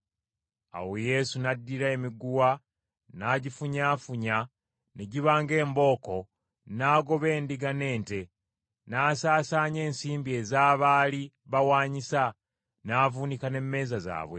Awo Yesu n’addira emiguwa n’agifunyaafunya ne giba ng’embooko n’agobawo endiga n’ente, n’asaasaanya n’ensimbi ez’abaali bawaanyisa, n’avuunika n’emmeeza zaabwe.